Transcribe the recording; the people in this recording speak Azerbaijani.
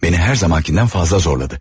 Məni hər zamankından fazla zorladı.